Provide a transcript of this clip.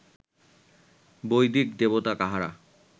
বৈদিক দেবতা কাহারা